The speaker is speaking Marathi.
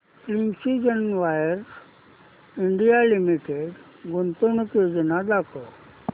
प्रिसीजन वायर्स इंडिया लिमिटेड गुंतवणूक योजना दाखव